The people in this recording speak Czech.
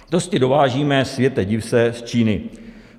Testy dovážíme, světe div se, z Číny.